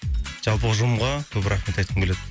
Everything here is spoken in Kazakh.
жалпы ұжымға көп рахмет айтқым келеді